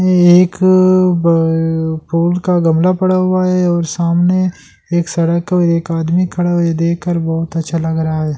एक अ अ अ ब फूल का गमला पड़ा हुआ है और सामने एक सरक और एक आदमी खड़ा हुआ है ये देख कर बहुत अच्छा लग रहा है।